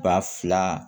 Ba fila